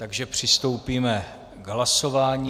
Takže přistoupíme k hlasování.